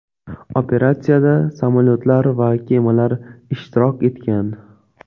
Operatsiyada samolyotlar va kemalar ishtirok etgan.